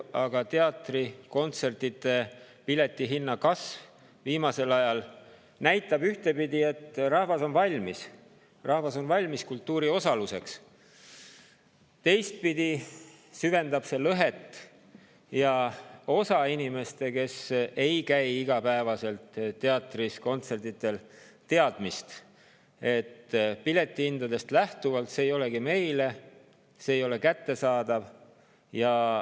Aga teatri‑ ja kontserdipiletite hinna kasv viimasel ajal näitab ühtepidi, et rahvas on valmis, rahvas on valmis kultuuriosaluseks, teistpidi süvendab see lõhet ja osa inimeste, kes ei käi teatris ega kontsertidel, teadmist, et piletihindadest lähtuvalt see ei olegi neile, see ei ole kättesaadav.